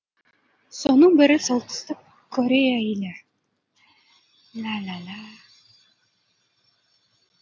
соның бірі солтүстік корея елі